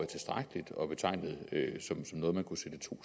tilstrækkeligt og betegnede som noget man kunne sætte to